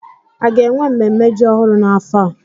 A ga-enwe ememme ji ọhụrụ n'afọ a?